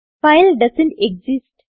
file doesn't exist